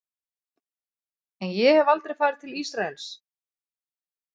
En ég hef aldrei farið til Ísraels.